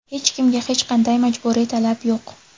Hech kimga hech qanday majburiy talab yo‘q.